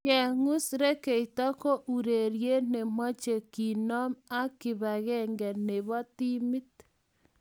Kengus rekeito ko urerie ne mochei kimnon ak kibakenge ne bo timit.